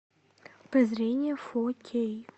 прозрение фо кей